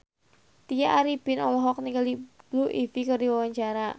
Tya Arifin olohok ningali Blue Ivy keur diwawancara